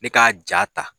Ne ka ja ta